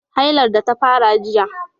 hailar da ta fara jiya